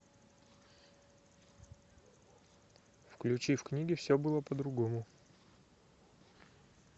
включи в книге все было по другому